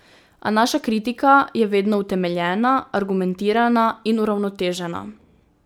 A naša kritika je vedno utemeljena, argumentirana in uravnotežena.